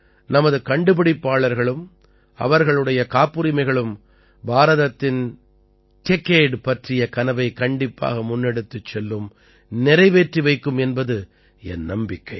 நமது கண்டுபிடிப்பாளர்களும் அவர்களுடைய காப்புரிமைகளும் பாரதத்தின் டெக்கேட் பற்றிய கனவை கண்டிப்பாக முன்னெடுத்துச் செல்லும் நிறைவேற்றி வைக்கும் என்பது என் நம்பிக்கை